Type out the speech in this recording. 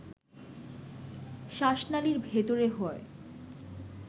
শ্বাসনালীর ভেতরে হয়